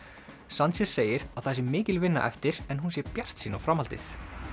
sanchez segir að það sé mikil vinna eftir en hún sé bjartsýn á framhaldið